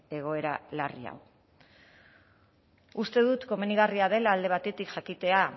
egoera larri hau uste dut komenigarria dela alde batetik jakitea